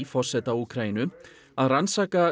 forseta Úkraínu að rannsaka